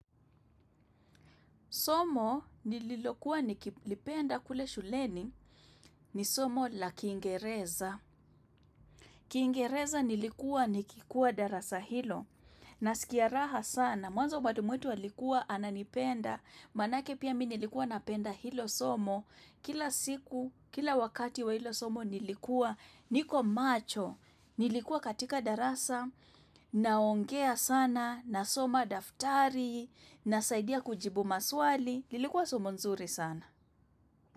Somo nililokuwa nikilipenda kule shuleni ni somo la kiingereza. Kiingereza nilikuwa nikikuwa darasa hilo. Nasikia raha sana, mwanzo mwalimu wetu alikuwa ananipenda. Manake pia mi nilikuwa napenda hilo somo. Kila siku, kila wakati wa hilo somo nilikuwa niko macho. Nilikuwa katika darasa, naongea sana, nasoma daftari, nasaidia kujibu maswali. Lilikuwa somo nzuri sana.